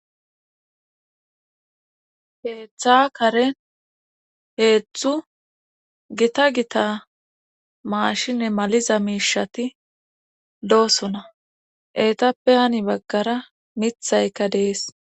Heeththa karen heetzthu gita gita maashine maliza miishati loosona etappehani baggara mithayka dees